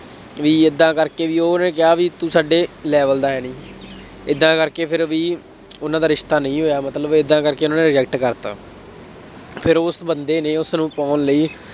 ਬਈ ਏਦਾਂ ਕਰਕੇ ਬਈ ਉਹਨੇ ਕਿਹਾ ਬਈ ਤੂੰ ਸਾਡੇ level ਦਾ ਹੈ ਨਹੀਂ, ਏਦਾਂ ਕਰਕੇ ਫਿਰ ਵੀ ਉਹਨਾ ਦਾ ਰਿਸ਼ਤਾ ਨਹੀਂ ਹੋਇਆ ਮਤਲਬ ਏਦਾਂ ਕਰਕੇ ਉਹਨਾ ਨੇ reject ਕਰ ਦਿੱਤਾ। ਫੇਰ ਉਸ ਬੰਦੇ ਨੇ ਉਸਨੂੰ ਪਾਉਣ ਲਈ